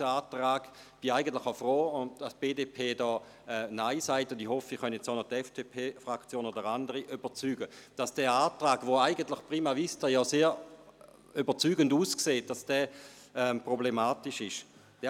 Ich bin eigentlich froh, dass die BDP Nein sagt und hoffe, ich könne auch noch die FDP-Fraktion oder andere Fraktionen davon überzeugen, dass dieser Antrag, der auf den ersten Blick überzeugend aussieht, problematisch ist.